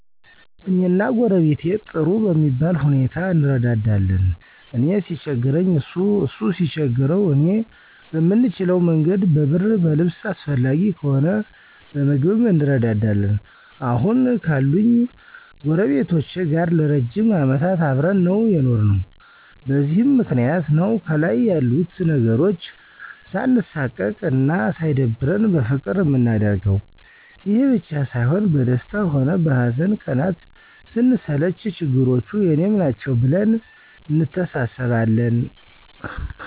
እኔና ጎረቤቴ ጥሩ በሚባል ሁኔታ እንረዳዳለን። እኔ ሲቸግረኝ እሱ እሱ ሲቸግረው እኔ በምንችለ መንገድ በብር በልብስ አስፈላጊ ከሆነ በምግብም እንረዳዳለን። አሁን ካሉኝ ጎረቤቶቼ ጋር ለ ረጅም አመታት አብረን ነው የኖርነው። በዚህም ምክንያት ነው ከልይ ያሉት ነገሮች ሳንሳቀቅ አና ሳይደብረን በፍቅር ምናደርገው። ይሄ ብቻ ሳይሆን በደስታ ሆነ በሀዘን ቀናት ስንሰለች ችግሮቹ የኔም ናቸው ብለን እንተሳሰባለን።